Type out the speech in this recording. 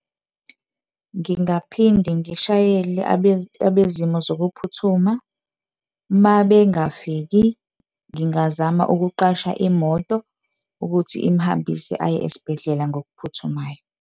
Ngingaphinda ngishayele abezimo zokuphuthuma, mabengafiki ngingazama ukuqasha imoto ukuthi imhambise aye esibhedlela ngokuphuthumayo.